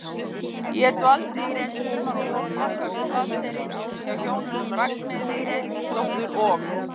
Ég dvaldist eitt sumar á Sólbakka við Flateyri, hjá hjónunum Ragnheiði Eiríksdóttur og